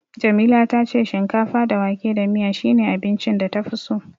Jamila ta ce shinkafa da wake da miya shine abincin da tafi so.